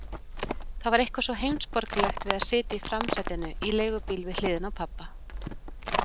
Það var eitthvað svo heimsborgaralegt að sitja í framsætinu í leigubíl við hliðina á pabba.